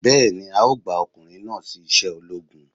Bẹ́ẹ̀ni, a ó gba ọkùnrin náà sí iṣẹ́ ológun